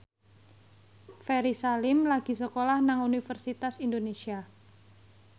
Ferry Salim lagi sekolah nang Universitas Indonesia